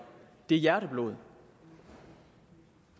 er hjerteblod